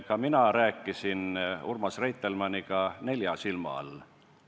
Ka mina rääkisin Urmas Reitelmanniga nelja silma all.